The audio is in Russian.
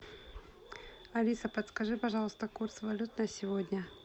алиса подскажи пожалуйста курс валют на сегодня